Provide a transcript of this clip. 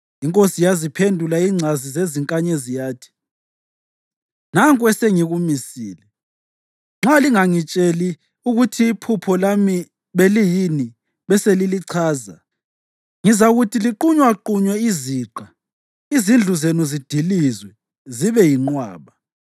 Inkosi yaziphendula ingcazi zezinkanyezi yathi, “Nanku esengikumisile: Nxa lingangitsheli ukuthi iphupho lami beliyini beselilichaza, ngizakuthi liqunywaqunywe iziqa, izindlu zenu zidilizwe zibe yinqwaba.